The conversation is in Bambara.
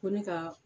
Ko ne ka